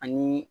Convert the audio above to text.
Ani